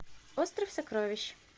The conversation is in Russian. остров сокровищ